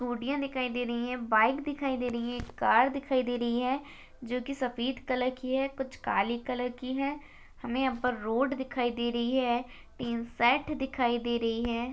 स्कूटीया दिखाई दे रही है बाइक दिखाई दे रही है कार दिखाई दे रही है जो की सफ़ेद कलर की है कुछ काली कलर की है हमे यहा पर रोड दिखाई दे रही है तीन साइड दिखाई दे रही है।